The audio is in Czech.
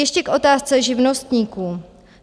Ještě k otázce živnostníků.